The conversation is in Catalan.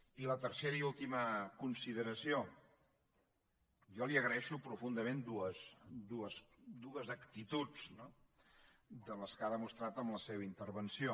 i la tercera i última consideració jo li agraeixo profundament dues actituds no de les que ha demostrat en la seva intervenció